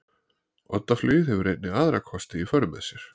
Oddaflugið hefur einnig aðra kosti í för með sér.